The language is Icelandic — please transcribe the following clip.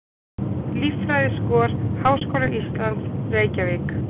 Líffræðiskor Háskóla Íslands, Reykjavík.